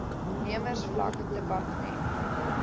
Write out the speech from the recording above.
nemers vlak dept